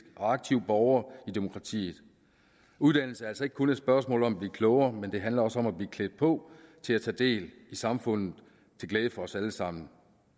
og aktiv borger i demokratiet uddannelse er altså ikke kun et spørgsmål om at blive klogere det handler også om at blive klædt på til at tage del i samfundet til glæde for os alle sammen